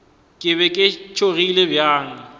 ke be ke tšhogile bjang